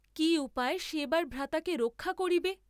কি উপায়ে সে এবার ভ্রাতাকে রক্ষা করিবে?